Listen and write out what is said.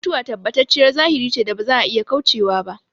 Mutuwa tabbatacciyar zahiri ce da ba za a iya kaucewa ba